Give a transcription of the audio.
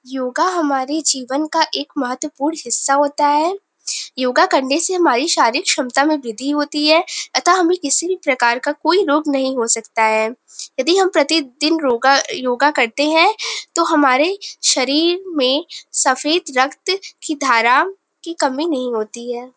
योगा हमारे जीवन का एक महत्तपूर्ण हिस्सा होता है। योगा करने से हमारी शारीरिक क्षमता में वृद्धि होती है अतः हमें किसी प्रकार का कोई रोग नहीं हो सकता है। यदि हम प्रतिदिन रोगा योगा करते हैं तो हमारे शरीर में सफ़ेद रक्त की धारा की कमी नहीं होती है।